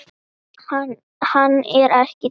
Hann er ekki til!